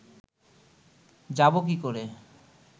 যাবো কী করে